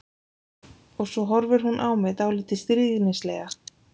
Og svo horfir hún á mig dálítið stríðnislega.